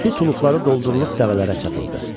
Suluqları doldurulub dəvələrə çatıldı.